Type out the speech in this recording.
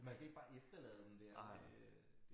Man skal ikke bare efterlade dem dér øh